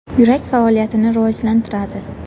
Yurak faoliyatini rivojlantiradi.